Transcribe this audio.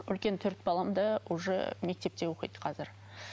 үлкен төрт балам да уже мектепте оқиды қазір